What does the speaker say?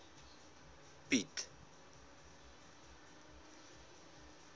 piet